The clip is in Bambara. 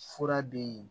Fura bɛ yen